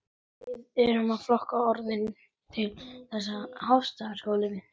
Þín dóttir, Salome.